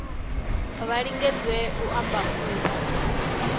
vha lingedze u ṱamba ḓuvha